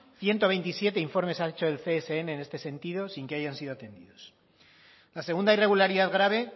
ciento veintisiete informes han hecho el csn en este sentido sin que hayan sido atendidos la segunda irregularidad grave